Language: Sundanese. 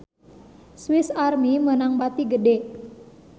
Swis Army meunang bati gede